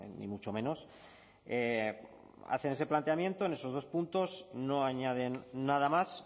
ni mucho menos hacen ese planteamiento en esos dos puntos no añaden nada más